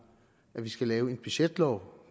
at vi skal lave en budgetlov